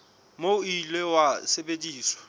moo o ile wa sebediswa